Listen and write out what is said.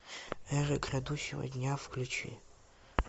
эра грядущего дня включи